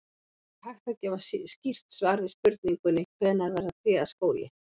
Það er ekki hægt að gefa skýrt svar við spurningunni hvenær verða tré að skógi.